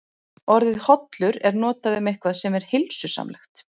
Orðið hollur er notað um eitthvað sem er heilsusamlegt.